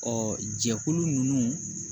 jɛkulu ninnu